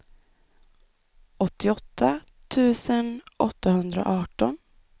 åttioåtta tusen åttahundraarton